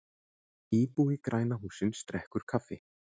íbúi græna hússins drekkur kaffi